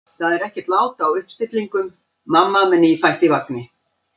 Það er ekkert lát á uppstillingum: mamma með nýfætt í vagni.